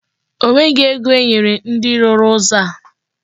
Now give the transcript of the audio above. O nweghị ego enyere ndị rụrụ ụzọ a.